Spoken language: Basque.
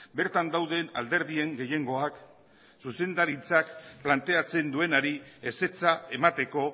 bertan dauden alderdien gehiengoak zuzendaritzak planteatzen duenari ezetza emateko